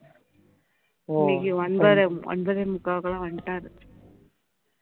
இன்னைக்கு ஒன்பது ஒனபதே முக்காக்குலாம் வந்துட்டாரு